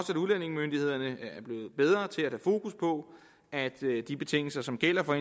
at udlændingemyndighederne bliver bedre til at have fokus på at der til de betingelser som gælder for